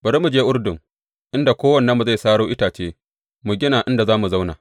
Bari mu je Urdun, inda kowannenmu zai saro itace; mu gina inda za mu zauna.